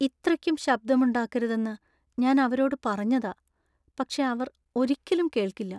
ഇത്രയ്ക്കും ശബ്ദമുണ്ടാക്കരുതെന്ന് ഞാൻ അവരോട് പറഞ്ഞതാ, പക്ഷേ അവർ ഒരിക്കലും കേൾക്കില്ല.